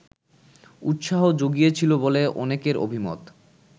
উৎসাহ জুগিয়েছিল বলে অনেকের অভিমত